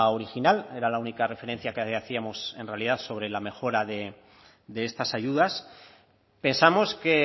original era la única referencia que hacíamos en realidad sobre la mejora de estas ayudas pensamos que